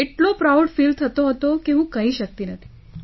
એટલો proud feel થતો હતો કે હું કહી શકતી નથી